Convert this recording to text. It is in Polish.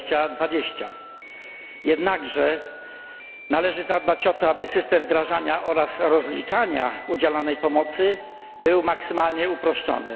2020. Jednakże należy zadbać o to, aby system wdrażania oraz rozliczania udzielanej pomocy był maksymalnie uproszczony.